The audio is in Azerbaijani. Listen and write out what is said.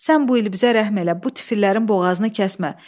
Sən bu il bizə rəhm elə, bu tifillərin boğazını kəsmə.